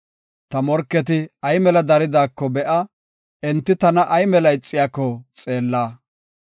Ta morketi ay mela daridaako be7a; enti tana ay mela ixiyako xeella.